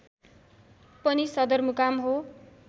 पनि सदरमुकाम हो